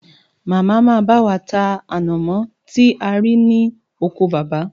Màmá máa bá wa ta ànàmọ́ tí a rí ní oko baba